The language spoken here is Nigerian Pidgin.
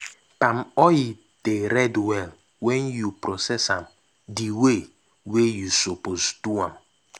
palm oil dey red well wen you process am d way wey you suppose do am.